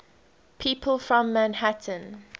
people from manhattan